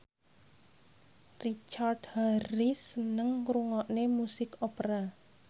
Richard Harris seneng ngrungokne musik opera